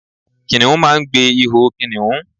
Kìnìún máa n gbe iho kìnìún